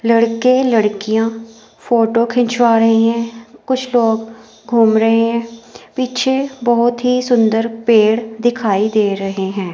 लड़के लड़कियां फोटो खिंचवा रहे हैं कुछ लोग घूम रहे हैं पीछे बहोत ही सुंदर पेड़ दिखाई दे रहे हैं।